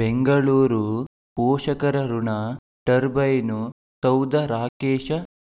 ಬೆಂಗಳೂರು ಪೋಷಕರಋಣ ಟರ್ಬೈನು ಸೌಧ ರಾಕೇಶ